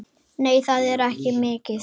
Nei, það er ekki mikið.